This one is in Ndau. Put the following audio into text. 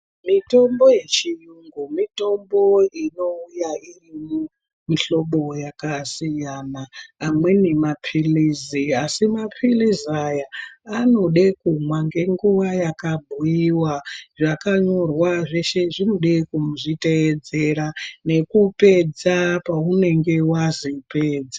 Mitombo yechiyungu mitombo inouya iri mumihlobo yakasiya a amweni mapilizi asi mapilizi aya anode kumwa ngenguwa yakabhuyiwa zvakanyorwa zve she zvinode kuzviteedzera nekupedza paunenge wazi pedza.